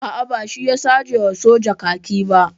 A'a, ba shi ya sace wa soja kaki ba.